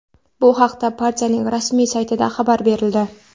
Bu haqda partiyaning rasmiy saytida xabar berildi.